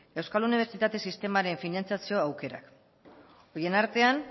euskal unibertsitate sistemaren finantziazio aukera horien artean